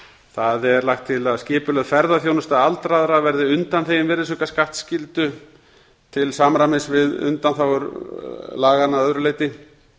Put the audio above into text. það er lagt til að skipulögð ferðaþjónusta aldraðra verði undanþegin virðisaukaskattsskyldu til samræmis við undanþágur laganna að öðru leyti